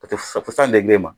san ma